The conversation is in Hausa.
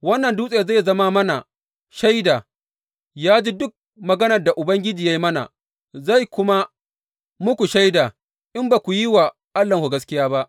Wannan dutse zai zama mana shaida, ya ji duk maganar da Ubangiji ya yi mana, zai zama muku shaida in ba ku yi wa Allahnku gaskiya ba.